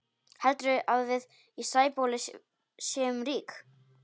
Heldurðu að við í Sæbóli séum rík?